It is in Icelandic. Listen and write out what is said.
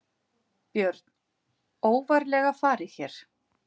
Björn: Óvarlega farið hér?